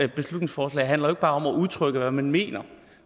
et beslutningsforslag handler jo ikke bare om at udtrykke hvad man mener